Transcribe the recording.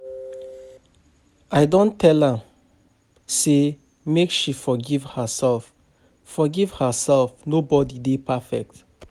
I don tell am sey make she forgive herself, forgive herself, nobodi dey perfect.